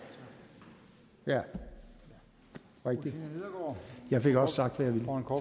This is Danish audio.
er rigtigt jeg fik også sagt hvad